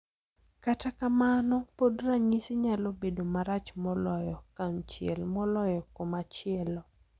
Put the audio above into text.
Kata kamano, pod ranyisi nyalo bedo marach moloyo kunchiel moloyo komachielo.